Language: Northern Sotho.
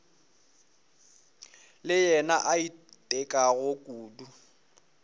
le yena a itekago kudu